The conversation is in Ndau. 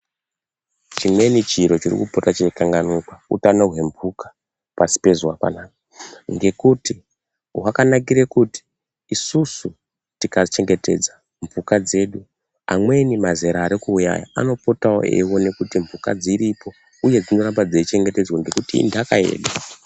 Chimweni chiro chiri kupota cheikanganikwa utano hwemphuka pasi pezuwa panapa. Ngokuti hwakanakira kuti isusu tikachengetedza mphuka dzedu amweni mazera ari kuuya aya anopotawo eiwona kuti mphuka dziripo uye dzinoramba dzeichengetedzwa ngokuti inthaka yedu.